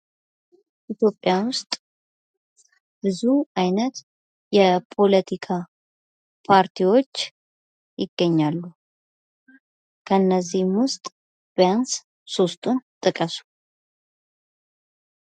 ኢትዮጵያ ውስጥ ብዙ አይነት የፖለቲካ ፓርቲዎች ይገኛሉ። ከነዚህም ውስጥ ቢያንስ ሶስቱን ጥቀሱ?